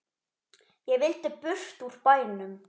Ég vildi burt úr bænum.